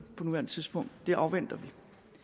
på nuværende tidspunkt det afventer vi